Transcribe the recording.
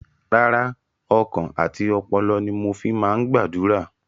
Rárá, ọkàn àti ọpọlọ ni mo fi máa ń gbàdúrà.